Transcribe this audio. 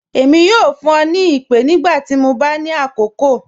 Ẹmi yọ fun ọ ni ipe nigbati mọ ba ni akọọkan.